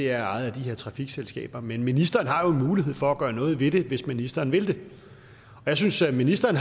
er ejet af de her trafikselskaber men ministeren har jo en mulighed for at gøre noget ved det hvis ministeren vil det jeg synes at ministeren